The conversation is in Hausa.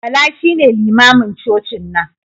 Bala shine limamin cocin nan.